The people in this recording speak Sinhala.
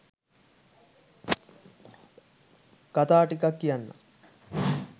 කතා ටිකක් කියන්නම්